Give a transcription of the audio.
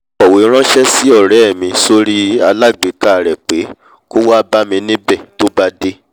mo kọ̀wé ranṣẹ́ sí ọrẹ́ mi sórí alágbèéká rẹ̀ pé kó wá bámi níbẹ̀ tó bá dé